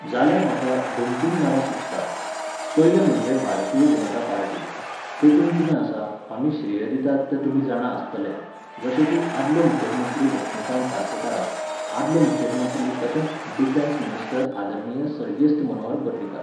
जाल्यार म्हाका दोन तीन नांवां सुचतात. पयलें म्हणजे भारतीय जनता पार्टी. तेतूंत कितें आसा, आमी श्रेय दितात तें तुमी जाणा आसतले, जशें की आदलो मुखेल मंत्री लक्ष्मिकांत पार्सेकाराक, आदलो मुखेल मंत्री तशेंच डिफॅन्स मिनिस्टर आदरणीय सर्गेस्त मनोहर पर्रीकार.